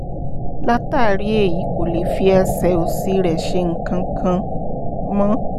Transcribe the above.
látàrí èyí kò lè fi ẹsẹ̀ òsì rẹ̀ ṣe nǹkan kan mọ́